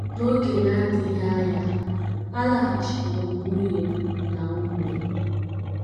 N’oge na - adịghị anya, alaghachikwuuru m nwunye m na ụmụ m.